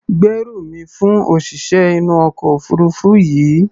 Gbérù mi fún òṣìṣẹ́ inú ọkọ̀ òfuurufú yìí!